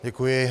Děkuji.